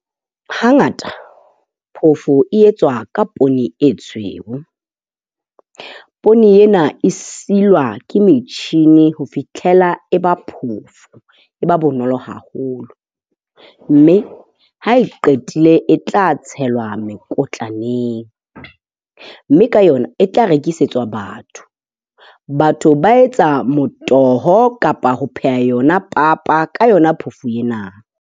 Hangata phofo e etswa ka poone e tshweu. Poone ena e silwa ke metjhini ho fihlela e ba phofo, e ba bonolo haholo. Mme ha e qetile e tla tshelwa mekotlwaneng. Mme ka yona e tla rekisetswa batho. Batho ba etsa motoho kapa ho pheha yona papa ka yona phofo ena.